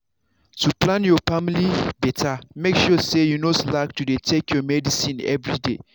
to plan your family better make sure say you no slack to dey take your medicine everyday.